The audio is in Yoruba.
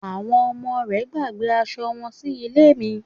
Àwọn ọmọ rẹ̀ gbàgbé asọ wọn sí ilé mi